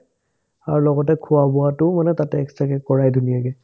আৰু লগতে খোৱা-বোৱাটো মানে তাতে extra কে কৰাই ধুনীয়াকে